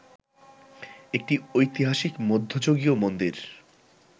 একটি ঐতিহাসিক মধ্যযুগীয় মন্দির